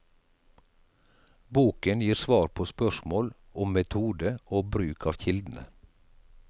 Boken gir svar på spørsmål om metode og bruk av kildene.